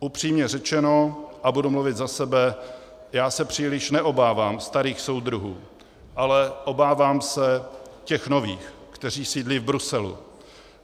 Upřímně řečeno, a budu mluvit za sebe, já se příliš neobávám starých soudruhů, ale obávám se těch nových, kteří sídlí v Bruselu.